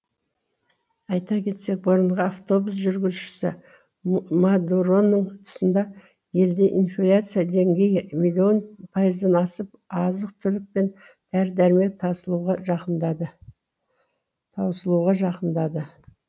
айта кетсек бұрынғы автобус жүргізушісі мадуроның тұсында елде инфляция деңгейі миллион пайыздан асып азық түлік пен дәрі дәрмек таусылуға жақындады